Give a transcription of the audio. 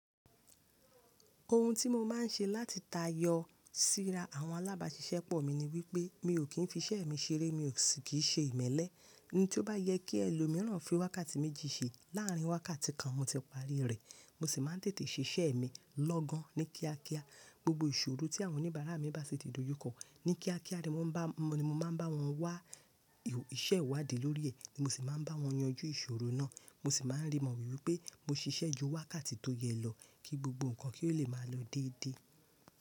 Ohun tí mo máa ń ṣe láti ta yọ síra àwọn alábàáṣiṣẹ́pọ̀ mi ni wípé mi ò kí ń fi iṣẹ́ mi ṣeré, mi ò sì kíì ṣe ìmẹ́lẹ́. Ẹni tí ó bá yẹ kí ẹ lo mìíràn fi wákàtí méjì ṣe láàrín wákàtí kan, mo tẹpá rí rẹ̀. Mo sì máa ń tètè ṣe iṣẹ́ mi lọ́gan ní kíákíá. Gbogbo ìṣòro tí àwọn oníbàárà mi bá sì ti dojú kọ, ní kíákíá ni mo máa ń bá wọn wá, iṣẹ́ ìwádìí lórí ẹ̀ ni mo sì máa ń bá wọn yanjú ìṣòro náà. Mo sì máa ń rí mọ̀ wípé mo ṣiṣẹ́ ju wákàtí tó yẹ lọ kí gbogbo nǹkan kí ó lè máa lọ déédéé.